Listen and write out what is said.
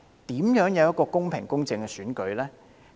這怎會是一個公平、公正的選舉呢？